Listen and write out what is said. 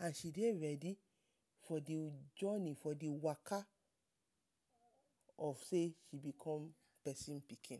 and she dey readi for the joni, for the waka of sey she be come pesin pikin.